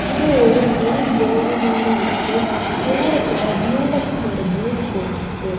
இது ஒரு main road மாரி இருக்கு தூரத்துல டியூலக்ஸ்னு ஒரு போர்டு போட்ருக்கு.